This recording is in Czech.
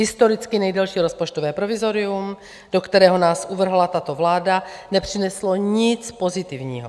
Historicky nejdelší rozpočtové provizorium, do kterého nás uvrhla tato vláda, nepřineslo nic pozitivního.